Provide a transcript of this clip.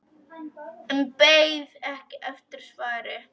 En beið ekki eftir svari.